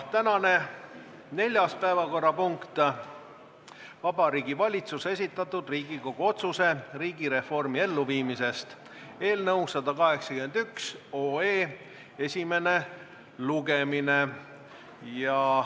Tänane neljas päevakorrapunkt, Vabariigi Valitsuse esitatud Riigikogu otsuse "Riigireformi elluviimisest" eelnõu 181 esimene lugemine.